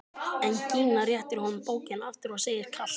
En Gína réttir honum bókina aftur og segir kalt: